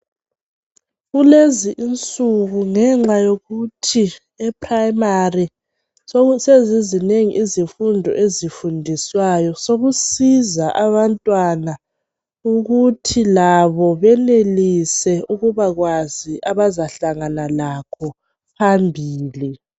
Kulezi insuku ngenxa yokuthi eprimary soku sezizinengi izifundo ezifundiswayo, sokusiza abantwana ukuthi labo benelise ukubakwazi abazahlangana lakho phambili.